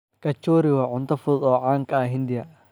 Kachori waa cunto fudud oo caan ka ah Hindiya.